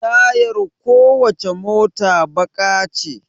Tayar ko wacce mota baƙa ce